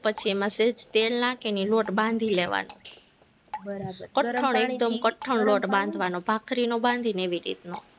પછી એમાં સહેજ તેલ નાખીને એ લોટ બાંધી લેવાનો કઠણ એકદમ કઠણ લોટ બાંધવાનો, ભાખરીનો બાંધવીને એવી રીતનો